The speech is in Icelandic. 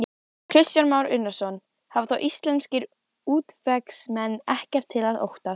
Kristján Már Unnarsson: Hafa þá íslenskir útvegsmenn ekkert að óttast?